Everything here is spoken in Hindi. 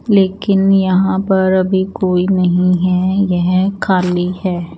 लेकिन यहाँ पर अभी कोई नही है यह खाली है।